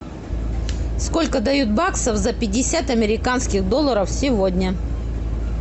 сколько дают баксов за пятьдесят американских долларов сегодня